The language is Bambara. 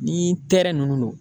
Ni ninnu don.